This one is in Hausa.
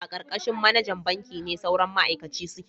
A karkashin manajan banki ne sauran ma'aikaci suke